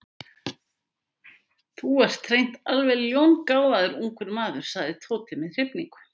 Þú ert hreint alveg ljóngáfaður ungur maður sagði Tóti með hrifningu.